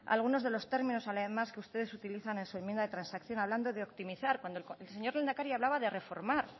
algunos de los términos además que ustedes utilizan en su enmienda de transacción hablando de optimizar cuando el señor lehendakari hablaba de reformar